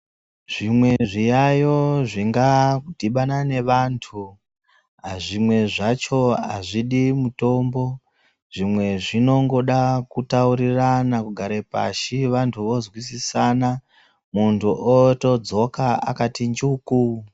Zvimwe zviyayo zvinga dhibana nevantu zvimwe zvacho hazvidi mutombo zvimwe zvinongoda kutaurirana kugare pashi vantu voswisisana muntu otodzoka akati njuku.